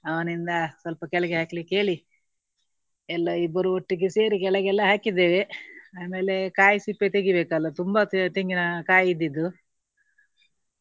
ಅವನಿಂದ ಸ್ವಲ್ಪ ಕೆಳಗೆ ಹಾಕ್ಲಿಕ್ಕೆ ಹೇಳಿ ಎಲ್ಲಾ ಇಬ್ಬರು ಒಟ್ಟಿಗೆ ಸೇರಿ ಕೆಳಗೆಲ್ಲಾ ಹಾಕಿದ್ದೇವೆ. ಆಮೇಲೆ ಕಾಯಿ ಸಿಪ್ಪೆ ತೆಗಿಬೇಕಲ್ಲಾ. ತುಂಬಾ ತೆ~ ತೆಂಗಿನ ಕಾಯಿ ಇದ್ದಿದ್ದು.